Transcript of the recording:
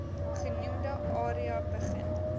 genoemde area begin